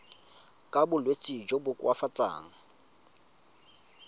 ka bolwetsi jo bo koafatsang